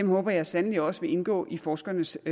håber jeg sandelig også vil indgå i forskernes